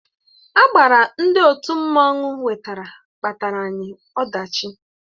Agbara ndị òtù mmanụ wetara kpataara anyị ọdachi